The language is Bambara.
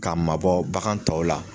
K'a mabɔ bagan tɔw la.